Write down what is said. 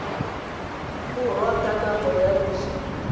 borwa ka nako ya loso